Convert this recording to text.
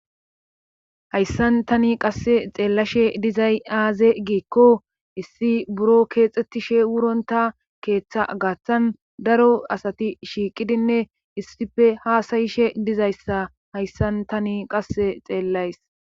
hayssan tani qasse xeellashe dizay aaze giikko issi buro keexettishe wuronta keeththa gaaththan daro asati shiiqidinne issife haasayishe dizayssa hayssan tani qasse xeellays.